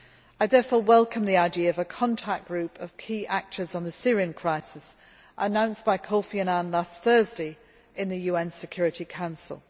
I therefore welcome the idea of a contact group of key actors on the Syrian crisis announced by Kofi Annan last Thursday in the UN Security Council.